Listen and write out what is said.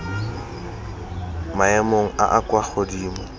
maemong a a kwa godimo